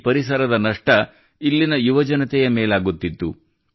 ಈ ಪರಿಸರದ ನಷ್ಟ ಇಲ್ಲಿನ ಯುವಜನತೆಯ ಮೇಲಾಗುತ್ತಿತ್ತು